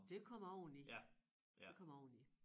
Det kommer oveni det kommer oveni